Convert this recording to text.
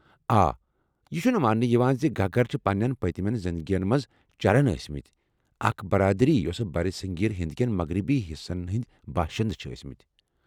آ یہِ چُھنہٕ مانٛنہٕ یوان زِ گگر چھِ پننٮ۪ن پٔتمیٚن زندگیٚن منٛز چرن ٲسۍمٕتۍ ، اکھ برادری یۄسہٕ برصغیر ہند کیٚن مغربی حصن ہنٛدۍ باشند چھِ ٲسمٕتۍ ۔